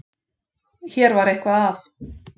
Hér var eitthvað að.